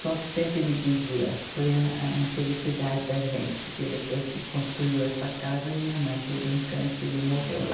Só que sempre ele dizia, foi a a infelicidade da gente, porque depois que construiu essa casa, minha mãe teve um câncer e morreu lá.